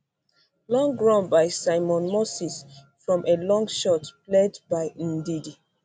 long run by simon moses from a long shot played by ndidi